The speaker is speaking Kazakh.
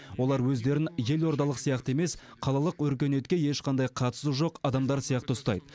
олар өздерін елордалық сияқты емес қалалық өркениетке ешқандай қатысы жоқ адамдар сияқты ұстайды